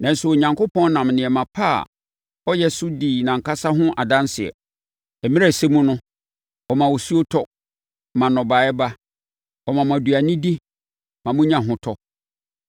Nanso, Onyankopɔn nam nneɛma pa a ɔyɛ so di nʼankasa ho adanseɛ. Mmerɛ a ɛsɛ mu no, ɔma osuo tɔ, ma nnɔbaeɛ ba; ɔma mo aduane di, ma monya ahotɔ.”